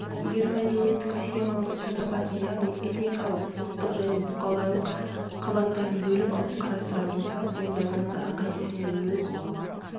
егер мәдениеттің схемалық түрде үш қабатын яғни этникалық ұлттық және бұқаралық қабаттарын бөліп алып қарастырар болсақ онда оның әрқайсысымен өз